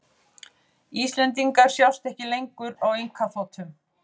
Íslendingar sjást ekki lengur á einkaþotum